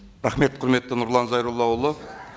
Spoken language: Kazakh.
рахмет құрметті нұрлан зайроллаұлы